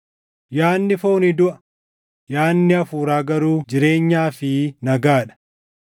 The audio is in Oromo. Yaadni foonii duʼa; yaadni Hafuuraa garuu jireenyaa fi nagaa dha.